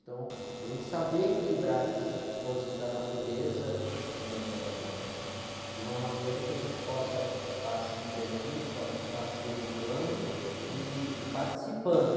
Então, a gente saber equilibrar essas forças da natureza, eh, de uma maneira que a gente possa estar se divertindo, possa estar se educando e, e participando.